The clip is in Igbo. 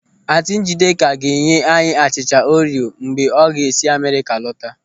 Ántị̀ Ńjídėkà ga-enye anyị achịcha Orio mgbe ọ ga-esi Amerịka lọta.